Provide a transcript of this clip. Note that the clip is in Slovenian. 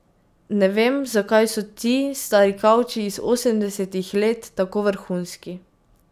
Ne vem, zakaj so ti stari kavči iz osemdesetih let tako vrhunski.